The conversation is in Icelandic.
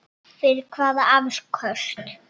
Fyrir hvaða afköst?